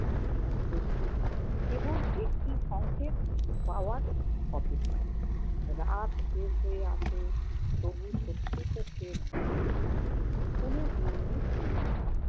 আমি প্রস্তুত। কেবল একটি সঙ্কেত পাওয়ার অপেক্ষা। রাত শেষ হয়ে আসে তবু শত্রুপক্ষের দিক থেকে কোন ইঙ্গিত মেলে না।